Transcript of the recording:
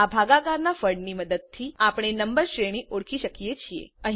આ ભાગાકાર ના ફળ ની મદદથી આપણે નંબર શ્રેણી ઓળખી શકીએ છીએ